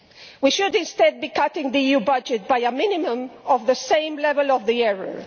We should instead be cutting the EU budget by a minimum of the same level of the error.